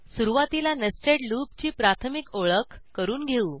सुरूवातीला नेस्टेड लूपची प्राथमिक ओळख करून घेऊ